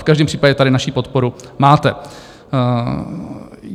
V každém případě tady naši podporu máte.